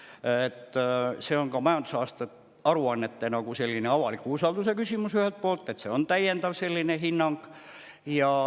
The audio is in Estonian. See on ühelt poolt majandusaasta aruannete avaliku usalduse küsimus, sest on täiendav hinnang.